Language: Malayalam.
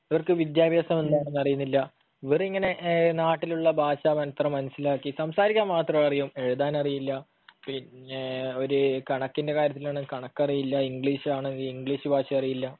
അവർക്ക് വിദ്യാഭ്യാസം എന്താണെന്നറിയുന്നില്ല, ഇവരിങ്ങനെ നാട്ടിലുള്ള ഭാഷ മാത്രം മനസ്സിലാക്കി സംസാരിക്കാൻ മാത്രം അറിയും. എഴുതാനറിയില്ല, പിന്നെ ഒരു കണക്കിന്റെ കാര്യത്തിലാണെങ്കിൽ കണക്കറിയില്ല, ഇംഗ്ലീഷ് ആണെങ്കിൽ ഇംഗ്ലീഷ് ഭാഷ അറിയില്ല,